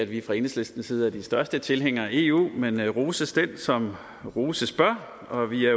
vi fra enhedslistens side er de største tilhængere af eu men roses den som roses bør og vi er